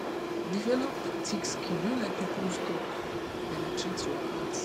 develop thick skin no let peoples talk penetrate your heart